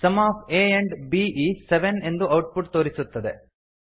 some of a and b is seven ಎಂದು output ತೋರಿಸುತ್ತದೆ